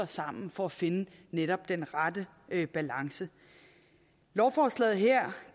sammen for at finde den rette balance lovforslaget her